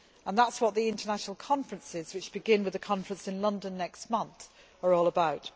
That is what the international conferences, which begin with a conference in London next month, are all about.